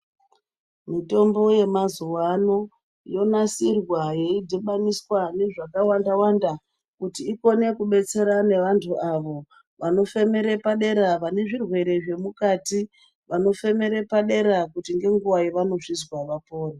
Mitombo yemazuwa ano yonasirwa yeidhibaniswa nezvakawanda wanda kuti ikone kubetsera nevantu avo vanofemere padera vane zvirwere zvemukati vanofemere padera kuti ngenguwa yavanozvizwa vapore.